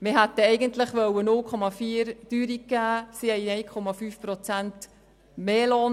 Wir hätten eigentlich 0,4 Prozent Teuerung gewähren wollen, aber sie wollten 1,5 Prozent mehr Lohn.